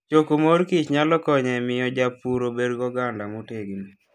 Choko mor kich nyalo konyo e miyo jopur obed gi oganda motegno.